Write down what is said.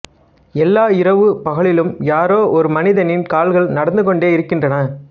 எல்லா இரவு பகலிலும் யாரோ ஒரு மனிதனின் கால்கள் நடந்துகொண்டே இருக்கின்றன